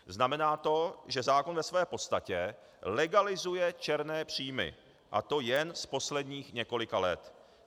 Znamená to, že zákon ve své podstatě legalizuje černé příjmy, a to jen z posledních několika let.